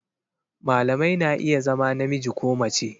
Malamai na iya zama namiji ko mace